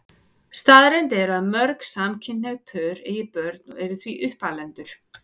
Staðreynd er að mörg samkynhneigð pör eiga börn og eru því uppalendur.